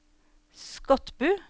Skotbu